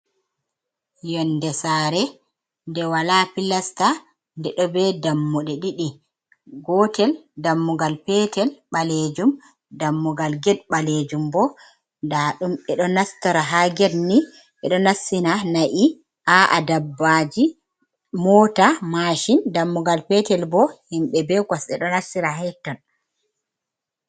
Yonde saare nde wala pilasta nde ɗo be dammuɗe 2 gotel dammugal petel ɓalejum, dammugal ged ɓalejum bo nda ɗum eɗo nastora ha gedni ɓeɗo nassina na’i a’a dabbaji, mota, mashin, dammugal petel bo himɓe be kos ɗe ɗo nassira her ton.